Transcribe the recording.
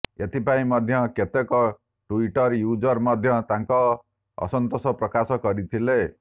ଏଥିପାଇଁ ମଧ୍ୟ କେତେକ ଟ୍ୱିଟର୍ ୟୁଜର୍ ମଧ୍ୟ ତାଙ୍କ ଅସନ୍ତୋଷ ପ୍ରକାଶ କରିଥିଲେ